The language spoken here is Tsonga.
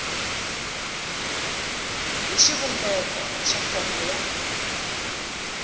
hi xivumbeko xa fomo ya